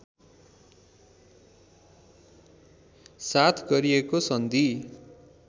साथ गरिएको सन्धि